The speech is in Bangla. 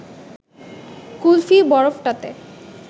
কুলফি বরফটাতে